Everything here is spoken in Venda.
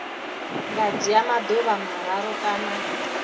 nga dzhia maḓuvha mararu kana